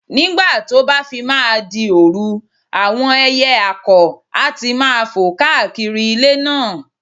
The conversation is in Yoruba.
Nígbà tó bá fi máa di òru, àwọn ẹyẹ àkọ̀ á ti máa fò káàkiri ilé náà